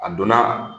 A donna